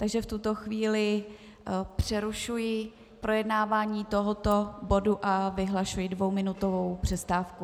Takže v tuto chvíli přerušuji projednávání tohoto bodu a vyhlašuji dvouminutovou přestávku.